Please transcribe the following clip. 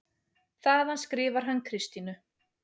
Þaðan skrifar hann Kristínu